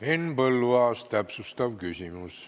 Henn Põlluaas, täpsustav küsimus.